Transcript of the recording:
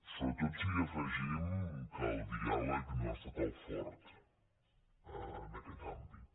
sobretot si hi afegim que el diàleg no ha estat el fort en aquest àmbit